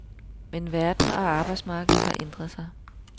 Men verden og arbejdsmarkedet har ændret sig.